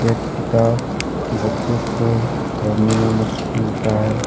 यह किताब बच्चों को पढ़ने मे मदद मिलता हैं।